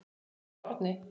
Erla og Árni.